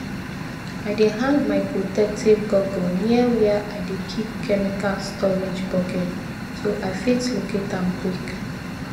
i dey hang my protective goggle near where i dey keep chemical storage bucket so i fit locate am quick